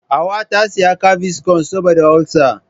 Hauwa ta saya gaviscon saboda ulsa.